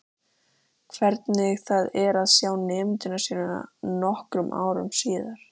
Hvernig það er að sjá nemendur sína nokkrum árum síðar.